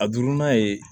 A duurunan ye